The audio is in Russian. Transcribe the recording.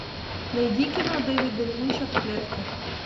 найди кино дэвида линча в клетке